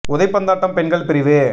உதைபந்தாட்டம் பெண்கள் பிரிவு